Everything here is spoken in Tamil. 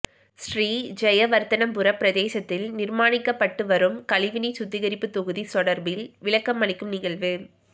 ஸ்ரீ ஜயவர்தனபுர பிரதேசத்தில் நிர்மாணிக்கப்பட்டுவரும் கழிவுநீர் சுத்திகரிப்பு தொகுதி தொடர்பில் விளக்கமளிக்கும் நிகழ்வு